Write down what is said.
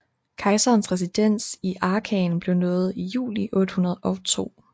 Kejserens residens i Aachen blev nået i juli 802